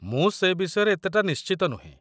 ମୁଁ ସେ ବିଷୟରେ ଏତେଟା ନିଶ୍ଚିତ ନୁହେଁ।